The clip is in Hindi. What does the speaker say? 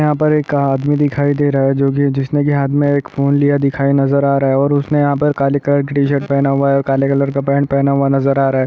यहाँ पर एक आदमी दिखाई दे रहा है जो की जिसने की हाथ में एक फोन लिया नजर आ रहा है और उसने यहाँ पर काले कलर की टीशर्ट पहना हुआ है और काले कलर का पैंट पहना हुआ नजर आ रहा है।